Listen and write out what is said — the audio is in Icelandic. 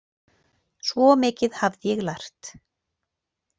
Svo mikið hafði ég lært.